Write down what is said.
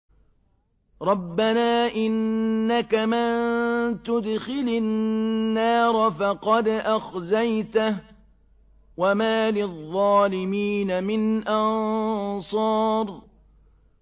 رَبَّنَا إِنَّكَ مَن تُدْخِلِ النَّارَ فَقَدْ أَخْزَيْتَهُ ۖ وَمَا لِلظَّالِمِينَ مِنْ أَنصَارٍ